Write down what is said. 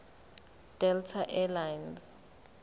delta air lines